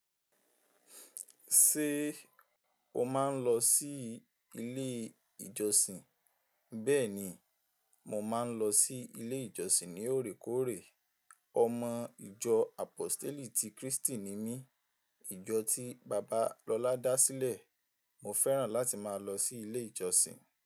Ṣé o máa ń lọ sí ilé ìjọsìn? Bẹ́ẹ̀ni, mo máa ń lọ sí ilé ìjọsìn ní òrékòórè. Ọmọ ìjọ Àpóstélì ti Krístì ni mí. Ìjọ tí bàbá lọlá dá sílẹ̀. Mo fẹ́ràn láti máa lọ sí ilé ìjọsìn.